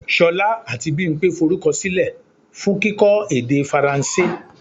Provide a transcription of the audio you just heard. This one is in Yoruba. Ṣolá àti Bimpe forúkọ silẹ fún kíkọ́ èdè Faransé.